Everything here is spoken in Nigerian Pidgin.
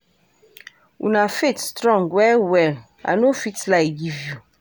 Una faith strong well well, I no fit lie give you.